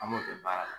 An b'o kɛ baara la